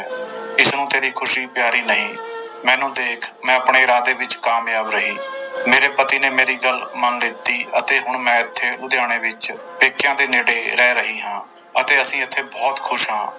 ਇਸਨੂੰ ਤੇਰੀ ਖ਼ੁਸ਼ੀ ਪਿਆਰੀ ਨਹੀਂ ਮੈਨੂੰ ਦੇਖ ਮੈਂ ਆਪਣੇ ਇਰਾਦੇ ਵਿੱਚ ਕਾਮਯਾਬ ਰਹੀ ਮੇਰੇ ਪਤੀ ਨੇ ਮੇਰੀ ਗੱਲ ਮੰਨ ਲਿੱਤੀ ਅਤੇ ਹੁਣ ਮੈਂ ਇੱਥੇ ਲੁਧਿਆਣੇ ਵਿੱਚ ਪੇਕਿਆਂ ਦੇ ਨੇੜੇ ਰਹਿ ਰਹੀ ਹਾਂਂ ਅਤੇ ਅਸੀਂ ਇੱਥੇ ਬਹੁਤ ਖ਼ੁਸ਼ ਹਾਂ।